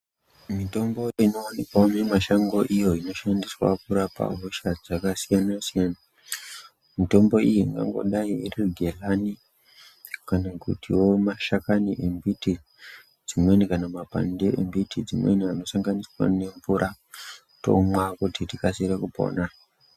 Mitombo inowanikwao mumishango iyo inoshandiswa kurapa hosha dzakasiyana siyana mitombo iyi ikangodai iri gehani kana kutio mashakani embiti dzimweni kana makwande embiti dzimweni anosanganiswa nemvura tomwa kuti tikasire kupona.